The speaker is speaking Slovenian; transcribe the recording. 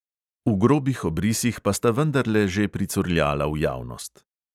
V grobih obrisih pa sta vendarle že pricurljala v javnost.